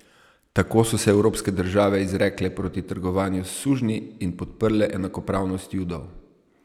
Tako so se evropske države izrekle proti trgovanju s sužnji in podprle enakopravnost judov.